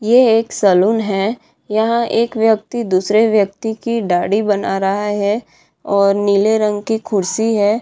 ये एक सैलून है यहाँ एक व्यक्ति दूसरे व्यक्ति की दाढ़ी बना रहा है और नीले रंग की कुर्सी है।